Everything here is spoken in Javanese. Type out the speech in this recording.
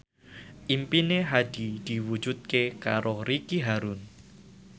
impine Hadi diwujudke karo Ricky Harun